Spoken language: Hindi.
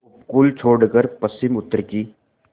उपकूल छोड़कर पश्चिमउत्तर की